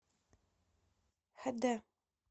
хэ дэ